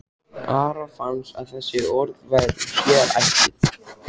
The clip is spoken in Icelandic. Ara fannst að þessi orð væru sér ætluð.